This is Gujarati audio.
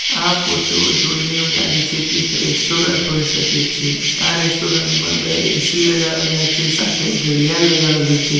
આ ફોટો જોઈને એવું લાગે છે કે એક રેસ્ટોરન્ટ હોઈ શકે છે આ રેસ્ટોરન્ટમાં બે એ_સી લગાવેલા છે સાથે ઘડિયાળ લગાવેલું છે.